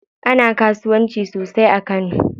Ana kasuwanci sosai a kano.